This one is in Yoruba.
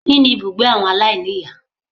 Kíni ibùgbé àwọn aláìníìyá